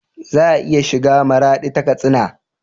Za a iya shiga maradi ta katsina